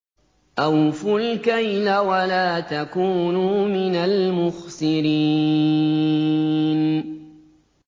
۞ أَوْفُوا الْكَيْلَ وَلَا تَكُونُوا مِنَ الْمُخْسِرِينَ